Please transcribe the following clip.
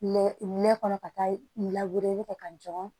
Mɛ kɔnɔ ka taa lawele kɛ ka jɔrɔ